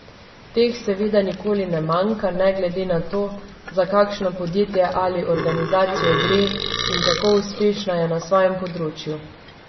Teh seveda nikoli ne manjka ne glede na to, za kakšno podjetje ali organizacijo gre in kako uspešna je na svojem področju.